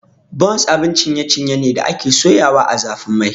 Buns abun ciye ciye ne da ake soyawa ã zafin Mai.